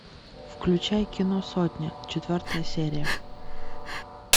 включай кино сотня четвертая серия